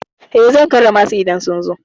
Eh, zan karrama su idan sun zo.